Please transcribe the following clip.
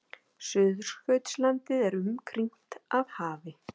Suðurskautslandið er umkringt af hafi.